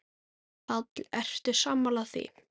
Páll: Ertu sammála því, Ásgeir?